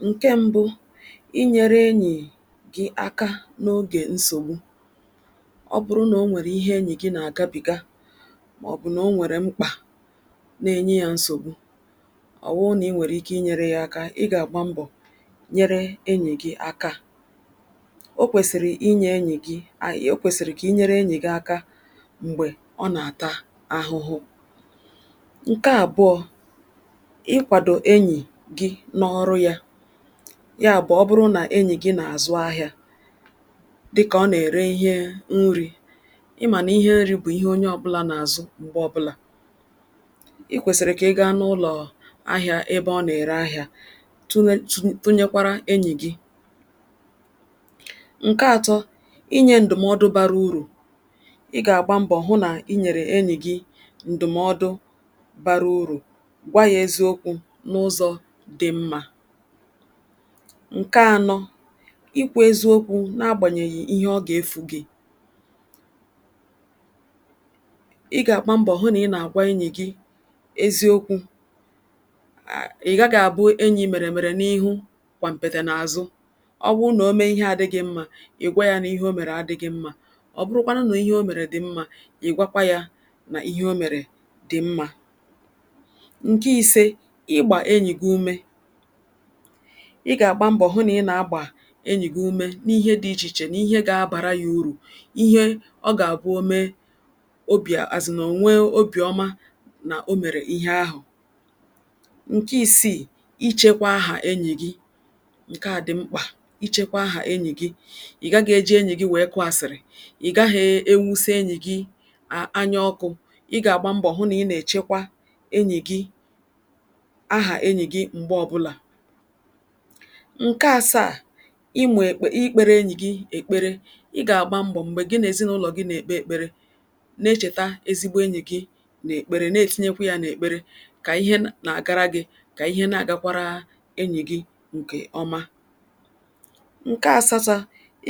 Nke mbụ, i nyere enyi gị aka n'oge nsogbu. Ọ bụrụ na o nwere ihe enyi gị na-agabiga maọbụ na o nwere mkpa na-enye ya nsogbu ọ wụrụ na i nwere ike inyere ya aka, ị ga-agba mbọ nyere enyi gị aka. O kwesịrị inye enyi gị o kwesịrị ka i nyere enyi gị aka mgbe ọ na-ata ahụhụ. Nke abụọ, ị kwado enyi gị n'ọrụ ya. Yabụ ọ bụrụ na enyi gị na-azụ ahịa, dịka ọ na-ere ihe nri, ị ma na ihe nri bụ ihe onye ọbụla na-azụ mgbe ọbụla. I kwesịrị ka ị gaa n'ụlọ ahịa ebe ọ na-ere ahịa tụha tụ tụnyekwara enyi gị. Nke atọ, inye ndụmọdụ bara uru. Ị ga-agba mbọ hụ na i nyere enyi gị ndụmọdụ bara uru, gwa ya eziokwu n'ụzọ dị mma. Nke anọ, ikwu eziokwu n'agbanyeghị ihe ọ ga-efu gị. Ị ga-agba mbọ hụ na ị na-agwa enyi gị eziokwu. A Ị gaghị abụ enyi meremere n'iru gbampịtị n'azụ. Ọ bụrụ na o mee ihe adịghị mma, ị gwa ya na ihe o mere adịghị mma. Ọ bụrụkwanụ na ihe o mere dị mma, ị gwa ya na ihe o mere dị mma. Nke ise, ịgba enyi gị úmé. Ị ga-agba mbọ hụ na ị na-agba enyi gị umé n'ihe dị iche iche n'ihe ga abara ya uu. Ihe ọ ga-abụ o mee obi asin o nwee obi ọma na o mere ihe ahụ. Nke isii, ichekwa aha enyi gị. Nke a dị mkpa ichekwa aha enyi gị. Ị gaghị e ji, enyi gị wee kụọ asịrị. Ị gaghị ewuse enyi gị a anya ọkụ. Ị ga-agba mbọ hụ na ị na-echekwa enyi gị aha enyi gị mgbe ọbụla. Nke asaa, ị mụ ekpe ikpere enyi gị ekpere. Ị ga-agba mbọ mgbe gị na ezinụlọ gị na-ekpe ekpere na-echeta ezigbo enyi gị n'ekpere na-etinyekwịa n'ekpere ka ihe na-agara gị ka ihe na-agakwara enyi gị nke ọma. Nke asatọ,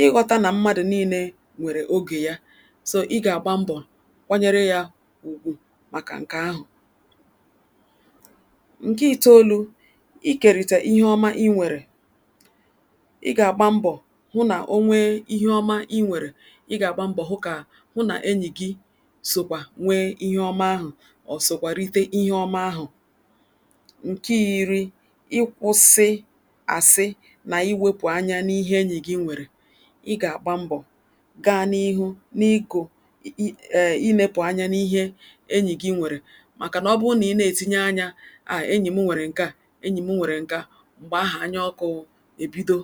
ịghọta na mmadụ niile nwere oge ya. So, ị ga-agba mbọ kwanyere ya ùgwù maka nke ahụ. Nke itoolu, ikerịta ihe ọma i nwere. Ị ga-agba mbọ hụ na o nwee ihe ọma i nwere, ị ga-agba mbọ hụ ka hụ na enyi gị sokwa nwee ihe ọma ahụ ma ọ sokwa rite ihe ọma ahụ. Nke iri, ịkwụsị asị na iwepụ anya n'ihe enyi gị nwere. Ị ga-agba mbọ gaa n'ihu n'iko i i ee ilepụ anya n'ihe enyi gị nwere makana ọ bụrụ na ị na-etinye anya err enyi m nwere nke a enyi m nwere nke a, mgbe ahụ anya ọkụ ebido.